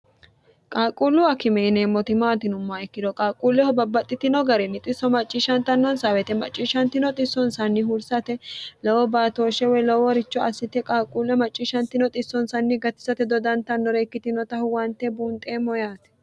qaalquullu akime yineemmoti maati yinummoha ikkiro qaaquulleho babbaxxitino garinni xisso macciishshantannonsaa wote macciishshantino xissonsanni hursate lowo baatooshshe woy lowoworicho assite qaaquulleho macciishantino xissonsanni gatisate dodantannore ikkitinota huwante buunxeemmo yaati